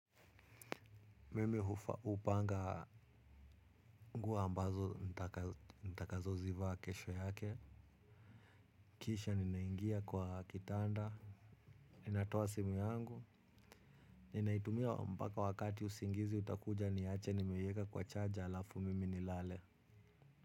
Mimi hupanga nguo ambazo nitakazo zivaa kesho yake. Kisha ninaingia kwa kitanda. Natoa simu yangu. Ninaitumia mpaka wakati usingizi utakuja niache nimeyeka kwa charge alafu mimi nilale.